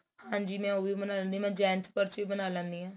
ਹਾਂਜੀ ਮੈਂ ਉਹ ਵੀ ਬਣਾ ਲੈਂਦੀ ਆ ਮੈਂ gents purse ਵੀ ਬਣਾ ਲੈਂਦੀ ਆ